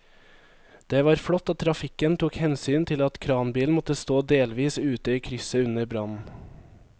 Det var flott at trafikken tok hensyn til at kranbilen måtte stå delvis ute i krysset under brannen.